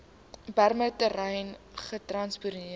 bremer terrein gestasioneer